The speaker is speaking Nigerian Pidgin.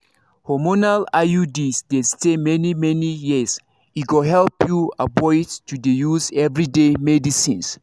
hormonal iuds dey stay many-many years e go help you avoid to dey use everyday medicines